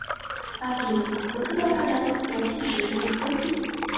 афина как выгодно продать сто сейшельских рупий